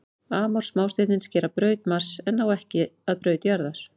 Amor smástirnin skera braut Mars en ná ekki að braut jarðar.